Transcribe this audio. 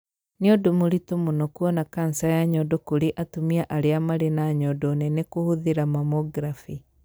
Nĩ ũndũ mũritũ mũno kũona kanca ya nyondo kũrĩ atumia arĩa marĩ na nyondo nene kũhũthĩra mammography.